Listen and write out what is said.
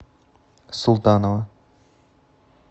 султанова